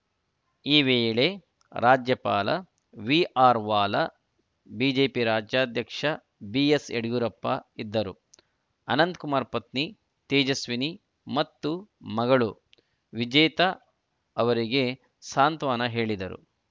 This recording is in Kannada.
ಈ ವೇಳೆ ರಾಜ್ಯಪಾಲ ವಿಆರ್‌ವಾಲಾ ಬಿಜೆಪಿ ರಾಜ್ಯಾಧ್ಯಕ್ಷ ಬಿಎಸ್‌ಯಡಿಯೂರಪ್ಪ ಇದ್ದರು ಅನಂತಕುಮಾರ್‌ ಪತ್ನಿ ತೇಜಸ್ವಿನಿ ಮತ್ತು ಮಗಳು ವಿಜೇತಾ ಅವರಿಗೆ ಸಾಂತ್ವನ ಹೇಳಿದರು